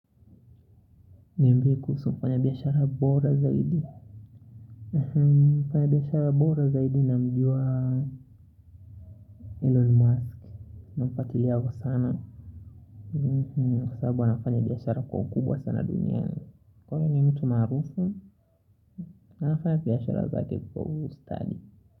Niambie kuhusu mfanya biashara bora zaidi? Mfanya biashara bora zaidi namjua Elon Musk. Namfuatilia sana kwa sababu anafanya biashara kwa ukubwa sana duniani. Kwa hio ni mtu maarufu na anafanya biashara zake kwa ustadi.